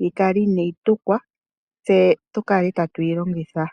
yi kale inaayi tukwa tse tu kale tatu yi longitha.